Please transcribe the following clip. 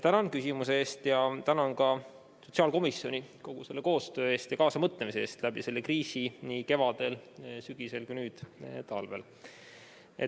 Tänan küsimuse eest ja tänan ka sotsiaalkomisjoni nende koostöö ja kaasamõtlemise eest selle kriisi ajal – nii kevadel, sügisel kui ka nüüd, talvel!